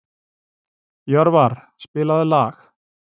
Jörvar, spilaðu lag.